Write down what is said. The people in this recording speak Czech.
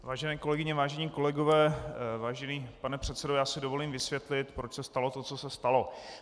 Vážené kolegyně, vážení kolegové, vážený pane předsedo, já si dovolím vysvětlit, proč se stalo to, co se stalo.